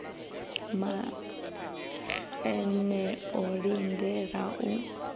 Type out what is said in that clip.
maxenn e o lindelaho u